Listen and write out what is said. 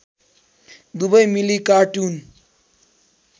दुबै मिली कार्टुन